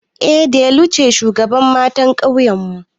Eh delu ce shugabar ƴan matan ƙauyenmu